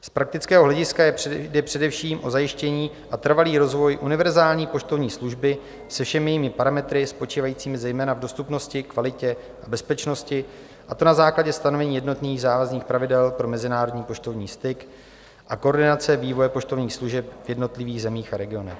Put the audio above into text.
Z praktického hlediska jde především o zajištění a trvalý rozvoj univerzální poštovní služby se všemi jejími parametry, spočívajícími zejména v dostupnosti, kvalitě a bezpečnosti, a to na základě stanovení jednotných závazných pravidel pro mezinárodní poštovní styk a koordinace vývoje poštovních služeb v jednotlivých zemích a regionech.